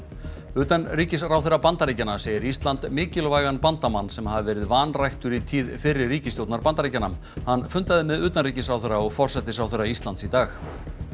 utanríkisráðherra Bandaríkjanna segir Ísland mikilvægan bandamann sem hafi verið vanræktur í tíð fyrri Bandaríkjanna hann fundaði með utanríkisráðherra og forsætisráðherra Íslands í dag